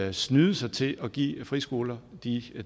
at snyde sig til at give friskoler de